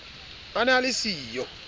a ne a le siyo